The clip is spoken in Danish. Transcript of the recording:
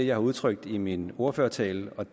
jeg har udtrykt i min ordførertale